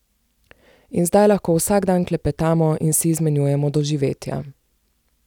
In zdaj lahko vsak dan klepetamo in si izmenjujemo doživetja.